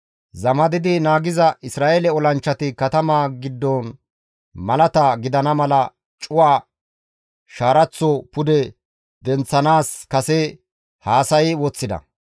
Zamadidi naagiza Isra7eele olanchchati katamaa giddon malata gidana mala cuwa shaaraththo pude denththanaas kase haasayi woththida.